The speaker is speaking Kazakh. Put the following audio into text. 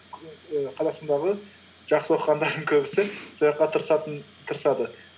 і қазақстандағы жақсы оқығандардың көбісі сол жаққа тырысады